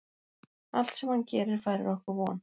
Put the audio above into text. Allt sem hann gerir færir okkur von.